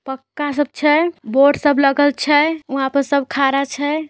पक्का सब छै बोर्ड सब लगल छै उआ पर सब खाड़ा छै।